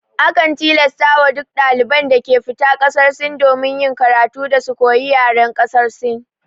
Akan tilasta wa duk daliban da ke fita ƙasar Sin domin yin karatu, da su koyi yaren ƙasar Sin